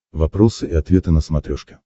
вопросы и ответы на смотрешке